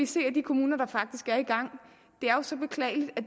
se at de kommuner der er i gang